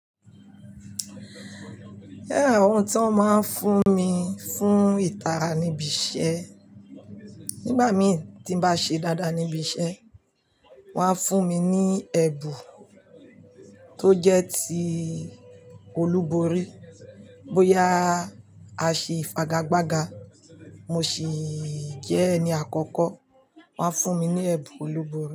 Ẹh, àwọn tí wón máa ń fún mi fún ìtara níbi iṣẹ́. Nígbà mí tí n bá ṣe dáadáa níbi iṣẹ́, wón á fún mi ní ẹ̀bù tó jẹ́ ti olúborí. Bóyá a ṣe ìfagagbága, mo sì jẹ́ ẹni àkọ́kọ́, wón á fún mi ní ẹ̀bù olúborí.